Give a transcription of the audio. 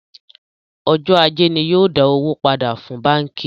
Ọjọ́ ajé ni yóò dá owó pàdà fún báńkì